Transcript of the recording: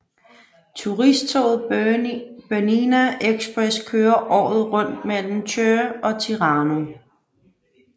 Turisttoget Bernina Express kører året rundt mellem Chur og Tirano